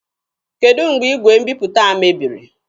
Kedụ mgbe igwe mbiputa a mebiri?